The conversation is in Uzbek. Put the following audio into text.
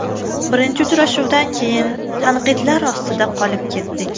Birinchi uchrashuvdan keyin tanqidlar ostida qolib ketdik.